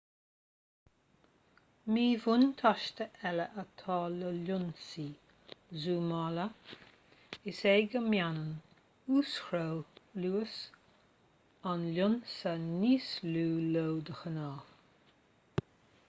míbhuntáiste eile atá le lionsaí zúmála is ea go mbaineann uas-chró luas an lionsa níos lú leo de ghnáth